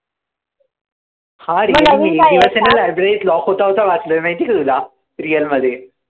हां रे एक दिवसेना library त lock होता होता वाचलोय माहितीये का तुला? real मध्ये.